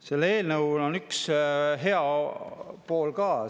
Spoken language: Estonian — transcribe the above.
Sellel eelnõul on üks hea pool ka.